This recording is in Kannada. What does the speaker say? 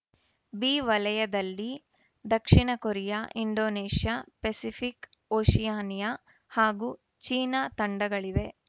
ಬಿ ವಲಯದಲ್ಲಿ ದಕ್ಷಿಣ ಕೊರಿಯಾ ಇಂಡೋನೇಷ್ಯಾ ಪೆಸಿಫಿಕ್‌ ಓಷಿಯಾನಿಯಾ ಹಾಗೂ ಚೀನಾ ತಂಡಗಳಿವೆ